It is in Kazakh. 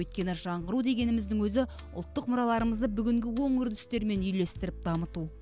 өйткені жаңғыру дегеніміздің өзі ұлттық мұраларымызды бүгінгі оң үрдістермен үйлестіріп дамыту